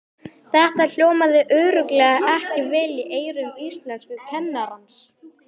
Þetta hljómaði örugglega ekki vel í eyrum íslenskukennarans!